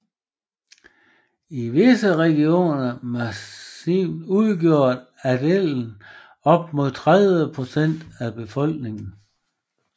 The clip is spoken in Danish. I visse regioner Masovien udgjorde adelen op mod 30 procent af befolkingen